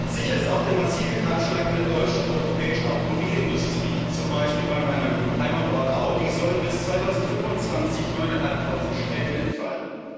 Sicher ist auch der massive Kahlschlag in der deutschen und europäischen Automobilindustrie, in meinem Heimatort zum Beispiel sollen bei Audi bis 2025 neuneinhalbtausend Stellen entfallen.